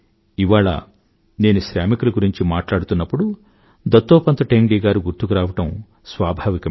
ఇవాళ నేను శ్రామికుల గురించి మట్లాడుతున్నప్పుడు దత్తోపంత్ ఠేంగ్డీ గారు గుర్తుకురావడం స్వాభావికమే